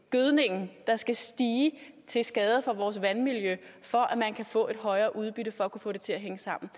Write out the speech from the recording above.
gødningen der skal stige til skade for vores vandmiljø for at man kan få et højere udbytte for at få det til at hænge sammen